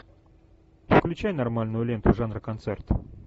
включай нормальную ленту жанра концерт